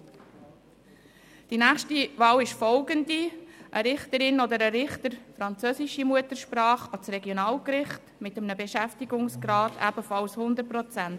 Bei der nächsten Wahl geht es um eine Richterin oder einen Richter französischer Muttersprache für das Regionalgericht, mit einem Beschäftigungsgrad von ebenfalls 100 Prozent.